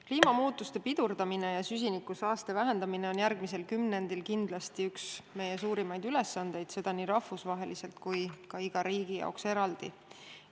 Kliimamuutuste pidurdamine ja süsinikusaaste vähendamine on järgmisel kümnendil kindlasti üks meie suurimaid ülesandeid ja seda nii rahvusvaheliselt kui ka iga riigi jaoks eraldi.